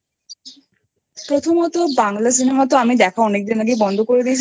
প্রথমত বাংলা Cinema আমি দেখা অনেকদিন আগেই বন্ধ করে